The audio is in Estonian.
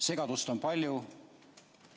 Segadust on palju.